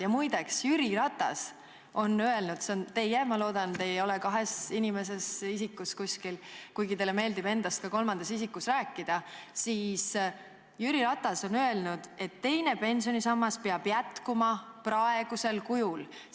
Ja muide, Jüri Ratas on öelnud – ma loodan, et te ei ole kuidagi nagu kahes isikus, kuigi teile meeldib endast ka kolmandas isikus rääkida –, et teine pensionisammas peab jätkuma praegusel kujul.